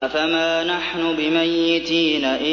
أَفَمَا نَحْنُ بِمَيِّتِينَ